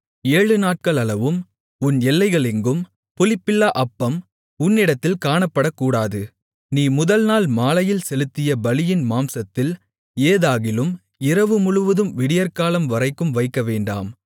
ஏழுநாட்களளவும் உன் எல்லைகளிலெங்கும் புளிப்புள்ள அப்பம் உன்னிடத்தில் காணப்படக்கூடாது நீ முதல் நாள் மாலையில் செலுத்திய பலியின் மாம்சத்தில் ஏதாகிலும் இரவுமுழுதும் விடியற்காலம் வரைக்கும் வைக்கவேண்டாம்